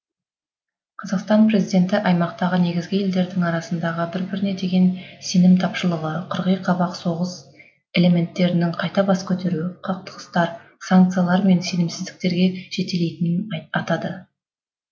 қазақстан президенті аймақтағы негізгі елдердің арасындағы бір біріне деген сенім тапшылығы қырғи қабақ соғыс элементтерінің қайта бас көтеруі қақтығыстар санкциялар мен сенімсіздіктерге жетелейтінін атады